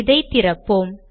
இதை திறப்போம்